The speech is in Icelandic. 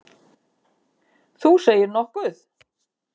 Þú segir nokkuð!